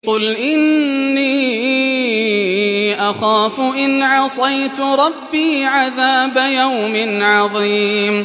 قُلْ إِنِّي أَخَافُ إِنْ عَصَيْتُ رَبِّي عَذَابَ يَوْمٍ عَظِيمٍ